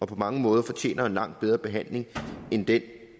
på mange måder fortjener en langt bedre behandling end den